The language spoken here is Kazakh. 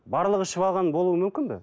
барлығы ішіп алған болуы мүмкін бе